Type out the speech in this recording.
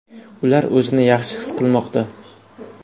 Ular o‘zini yaxshi his qilmoqda.